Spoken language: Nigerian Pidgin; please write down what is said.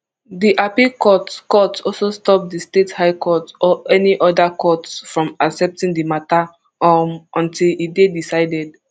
di appeal court court also stop di state high court or any oda court from accepting di mata um until e dey decided